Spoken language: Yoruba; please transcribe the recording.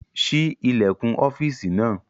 Ṣí ilẹ̀kùn ọ́fìsì náà!